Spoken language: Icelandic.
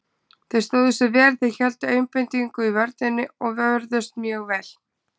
Þeir stóðu sig vel, þeir héldu einbeitingu í vörninni og vörðust mjög vel.